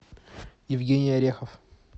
евгений орехов